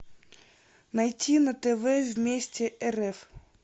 найти на тв вместе рф